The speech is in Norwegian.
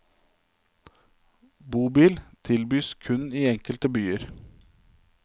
Bobil tilbys kun i enkelte byer.